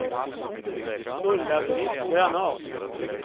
Ulla-Britt Granath